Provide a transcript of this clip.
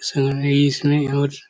समझने इसमें बहुत--